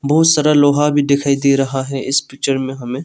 बहुत सारा लोहा भी दिखाई दे रहा है इस पिक्चर में हमें।